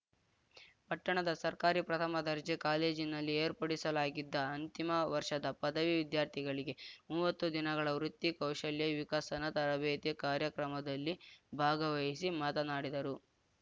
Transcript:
ಪಟ್ಟಣದ ಸರ್ಕಾರಿ ಪ್ರಥಮ ದರ್ಜೆ ಕಾಲೇಜಿನಲ್ಲಿ ಏರ್ಪಡಿಸಲಾಗಿದ್ದ ಅಂತಿಮ ವರ್ಷದ ಪದವಿ ವಿದ್ಯಾರ್ಥಿಗಳಿಗೆ ಮೂವತ್ತು ದಿನಗಳ ವೃತ್ತಿ ಕೌಶಲ್ಯ ವಿಕಸನ ತರಬೇತಿ ಕಾರ್ಯಕ್ರಮದಲ್ಲಿ ಭಾಗವಹಿಸಿ ಮಾತನಾಡಿದರು